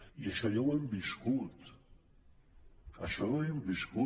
i això ja ho hem viscut això ja ho hem viscut